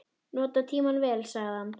Nota tímann vel, sagði hann.